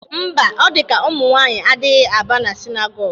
Mba, o dị ka umụnwanyị adịghị aba na sinagogu